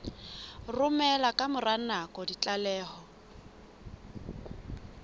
romela ka mora nako ditlaleho